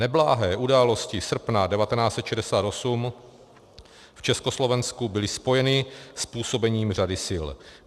Neblahé události srpna 1968 v Československu byly spojeny s působením řady sil.